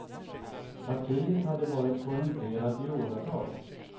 Partiet hade varit korrumperat i åratal.